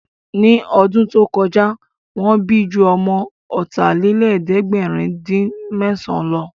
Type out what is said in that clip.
Ní ọdún tó kọjá, Wọ́n bí ju ọmọ ọ̀tàlélẹ̀ẹ̀dẹ́gbèrin-dín-mẹ́san lọ